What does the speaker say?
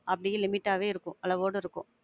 அப்படியே limit ஆவே இருக்கும், அளவோட இருக்கும்.